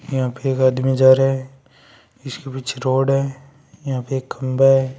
यहां पर एक आदमी जा रहा है जिसके पीछे रोड है यहां पर एक खंबा है।